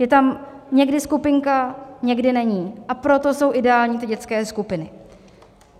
Je tam někdy skupinka, někdy není, a proto jsou ideální ty dětské skupiny.